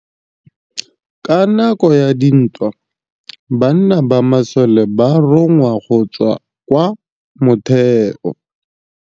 Ka nakô ya dintwa banna ba masole ba rongwa go tswa kwa mothêô.